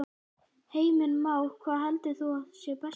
Heimir Már: Hvað heldur þú að sé besta leiðin?